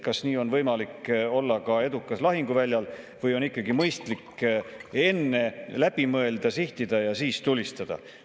Kas nii on võimalik olla edukas ka lahinguväljal või on ikkagi mõistlik enne läbi mõelda, sihtida ja siis tulistada?